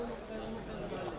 Amma sən onunla gedirsən.